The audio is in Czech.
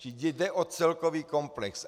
Čili jde o celkový komplex.